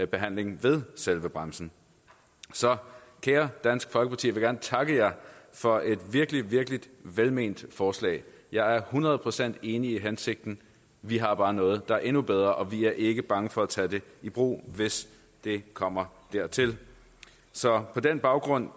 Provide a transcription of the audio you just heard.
behandling ved selve grænsen så kære dansk folkeparti jeg vil gerne takke jer for et virkelig virkelig velment forslag jeg er hundrede procent enig i hensigten vi har bare noget der er endnu bedre og vi er ikke bange for at tage det i brug hvis det kommer dertil så på den baggrund